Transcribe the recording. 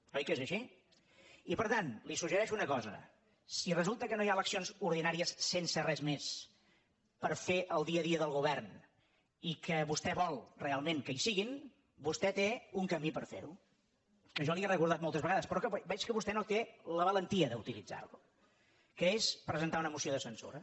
oi que és així i per tant li suggereixo una cosa si resulta que no hi ha eleccions ordinàries sense res més per fer el dia a dia del govern i que vostè vol realment que hi siguin vostè té un camí per fer ho que jo li he recordat moltes vegades però que veig que vostè no té la valentia d’utilitzar lo que és presentar una moció de censura